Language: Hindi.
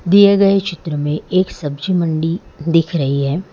दिए गए चित्र में एक सब्जी मंडी दिख रही है।